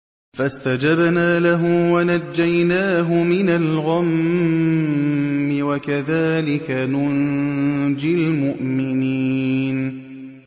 فَاسْتَجَبْنَا لَهُ وَنَجَّيْنَاهُ مِنَ الْغَمِّ ۚ وَكَذَٰلِكَ نُنجِي الْمُؤْمِنِينَ